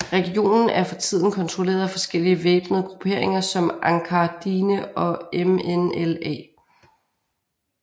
Regionen er for tiden kontrolleret af forskellige væbnede grupperinger som Ançar Dine og MNLA